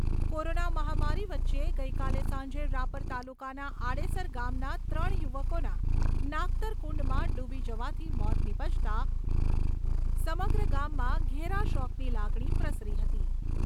Corona મહામારી વચ્ચે ગઈકાલે સાંજે રાપર તાલુકાના આડેસર ગામના ત્રણ યુવકોના નાગતર કુંડમાં ડુબી જવાથી મોત નીપજતા સમગ્ર ગામમાં ઘેર શોકની લાગણી પ્રસરી હતી.